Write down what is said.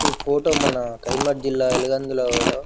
ఈ ఫోటో మన కరీంనగర్ జిల్లా వెలుగంద ల లో --